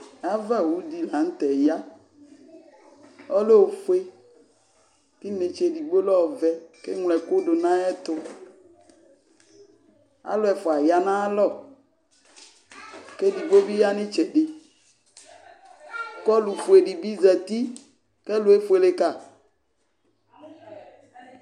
Avawu dɩ la tɛ yaƆlɛ ofue k ' ɩnetsedigbo lɛ ɔvɛ ,k' eŋlo ɛkʋ dʋ nayɛtʋ Alʋ ɛfʋa ya naya alɔ, kuvi ya n' ɩtsɛdɩ ,k' ɔlʋ fue dɩ bɩ zati k' ɛlʋ efuele ka